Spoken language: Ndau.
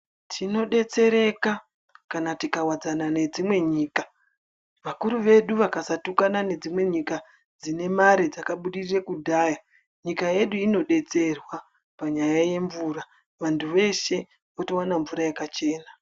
Tinodetsereka kana tikawadzana nedzimwe nyika. Vakuru vedu kana vakasatukana nedzimwe nyika dzinemare ,dzakabudirira kudhaya nyika yedu inodetserwa panyaya yemvura. Vantu veshe votowane mvura yakachena.